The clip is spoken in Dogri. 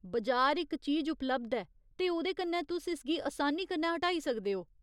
बजार इक चीज उपलब्ध ऐ, ते ओह्‌दे कन्नै तुस इसगी असानी कन्नै हटाई सकदे ओ।